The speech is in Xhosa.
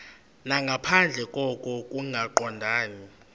nangaphandle koko kungaqondani